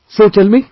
So, tell me